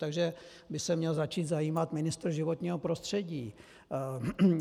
Takže by se měl začít zajímat ministr životního prostředí.